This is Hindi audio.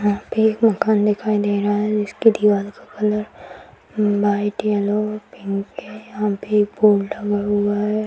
यहाँ पे एक मकान दिखाई दे रहा है जिसके दीवार का कलर वाइट येलो पिंक है यहाँ पे एक बोर्ड लगा हुआ है।